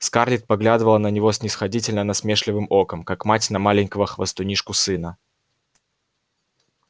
скарлетт поглядывала на него снисходительно-насмешливым оком как мать на маленького хвастунишку-сына